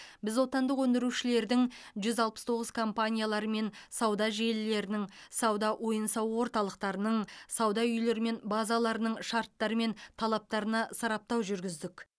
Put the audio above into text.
біз отандық өндірушілердің жүз алпыс тоғыз компаниялары мен сауда желілерінің сауда ойын сауық орталықтарының сауда үйлері мен базаларының шарттары мен талаптарына сараптау жүргіздік